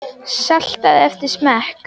Saltaðu eftir smekk.